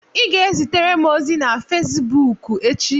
Ị ga-ezitere m ozi na Fezbuuku echi.